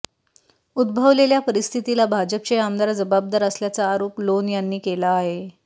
उद्भवलेल्या परिस्थितीला भाजपचे आमदार जबाबदार असल्याचा आरोप लोन यांनी केला आहे